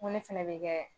Ŋo ne fɛnɛ bɛ kɛ